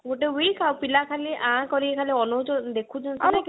ଗୋଟେ week ଆଉ ପିଲା ଖାଲି ଆଁ କରି ଅନଉଛନ ଦେଖୁଛନ